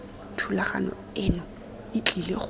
thulaganyo eno e tlile go